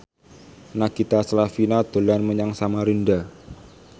Nagita Slavina dolan menyang Samarinda